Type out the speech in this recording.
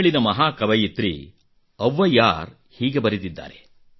ತಮಿಳಿನ ಮಹಾ ಕವಿಯಿತ್ರಿ ಅವ್ವಯ್ಯಾರ್ ಹೀಗೆ ಬರೆದಿದ್ದಾರೆ